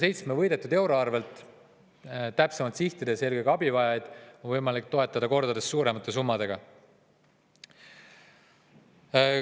Selle võidetud 7 euro asemel, kui täpsemalt sihtida, on eelkõige abivajajaid võimalik toetada kordades suuremate summadega.